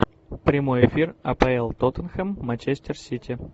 прямой эфир апл тоттенхэм манчестер сити